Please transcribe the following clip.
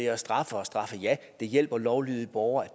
at straffe og ja det hjælper lovlydige borgere at